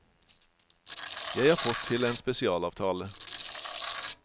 Jeg har fått til en spesialavtale.